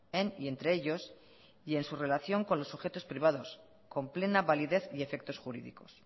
en y entre ellos y en su relación con los objetos privados con plena validez y efectos jurídicos